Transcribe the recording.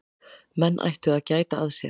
Menn ættu að gæta að sér.